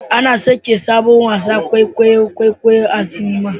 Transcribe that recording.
Ana sakin sabon wasan kwaikwayon kwaikwayo a cinema